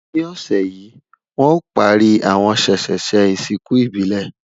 ní ọsẹ yi, wọn o pari àwọn sesese ìsìnkú ìbílè